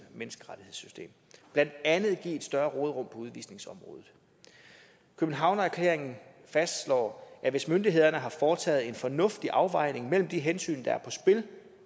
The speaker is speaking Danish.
menneskerettighedssystem og blandt andet give et større råderum på udvisningsområdet københavnererklæringen fastslår at hvis myndighederne har foretaget en fornuftig afvejning mellem de hensyn der er på spil